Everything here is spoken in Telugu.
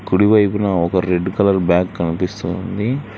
కుడివైపున ఒక రెడ్ కలర్ బ్యాగ్ కనిపిస్తుంది.